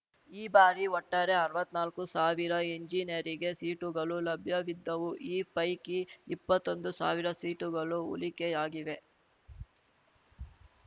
ಈ ಬಾರಿ ಒಟ್ಟಾರೆ ಅರ್ವತ್ತ್ನಾಲ್ಕು ಸಾವಿರ ಎಂಜಿನಿಯರಿಗೆ ಸೀಟುಗಳು ಲಭ್ಯವಿದ್ದವು ಈ ಪೈಕಿ ಇಪ್ಪತ್ತೊಂದು ಸಾವಿರ ಸೀಟುಗಳು ಉಳಿಕೆಯಾಗಿವೆ